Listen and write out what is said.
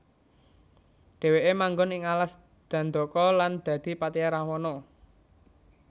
Dheweke manggon ing alas Dandaka lan dadi patihe Rahwana